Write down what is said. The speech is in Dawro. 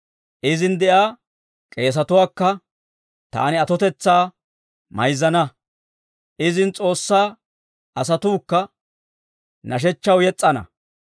Izin de'iyaa k'eesetuwaakka taani atotetsaa mayzzana; izin S'oossaa asatuukka nashshechchaw yes's'ana.